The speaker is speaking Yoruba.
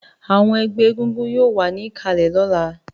Àwọn ẹgbẹ́ egúngún yóò wà ní ìkàlẹ̀ lọ́la